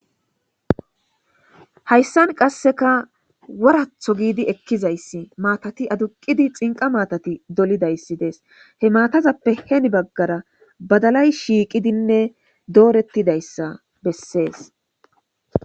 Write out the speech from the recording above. Hayssan qasseka woratho giidi ekkizayssi maatati aduqidi xinqa maatati dolidayssi dees he maatazappe heni baggara badalay shiiqidinne doorettidayssa bessees